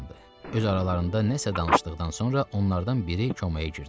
Öz aralarında nəsə danışdıqdan sonra onlardan biri komaya girdi.